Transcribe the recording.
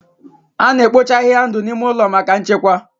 A na-ekpocha ahịhịa ndụ n'ime ụlọ maka nchekwa.